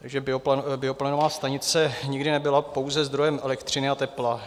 Takže bioplynová stanice nikdy nebyla pouze zdrojem elektřiny a tepla.